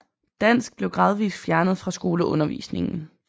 Dansk blev gradvis fjernet fra skoleundervisningen